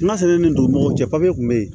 N'a sera nin dugu ma papiye tun bɛ yen